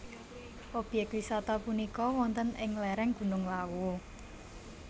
Obyek wisata punika wonten ing lereng Gunung Lawu